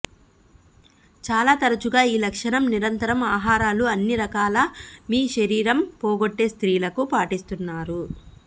చాలా తరచుగా ఈ లక్షణం నిరంతరం ఆహారాలు అన్ని రకాల మీ శరీరం పోగొట్టే స్ర్తీలకు పాటిస్తున్నారు